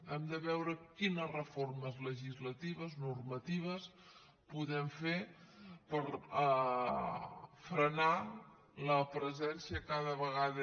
hem de veure quines reformes legislatives normatives podem fer per frenar la presència cada vegada